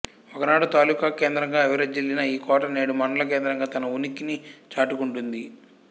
ఒకనాడు తాలుకా కేంద్రంగా విరజిల్లిన ఈ కోట నేడు మండల కేంద్రంగా తన ఉనికిని చాటుకుంటుంది